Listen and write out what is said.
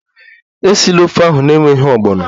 Esila ofe ahụ n'enweghị ogbono!